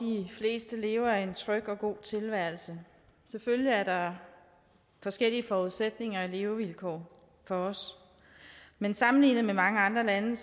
fleste lever en tryg og god tilværelse selvfølgelig er der forskellige forudsætninger og levevilkår for os men sammenlignet med mange andre lande